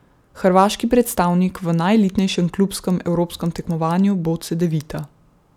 Hrvaški predstavnik v najelitnejšem klubskem evropskem tekmovanju bo Cedevita.